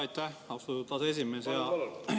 Aitäh, austatud aseesimees!